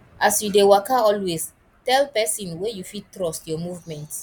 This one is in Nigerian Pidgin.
as you de waka always tell persin wey you fit trust your your movement